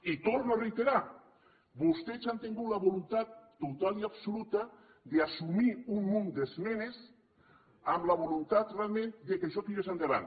i torno a reiterar vostès han tingut la voluntat total i absoluta d’assumir un munt d’esmenes amb la voluntat realment que això tirés endavant